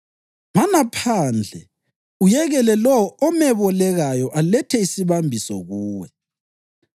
Mana phandle uyekele lowo omebolekayo alethe isibambiso kuwe.